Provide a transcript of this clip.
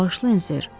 Bağışlayın, ser.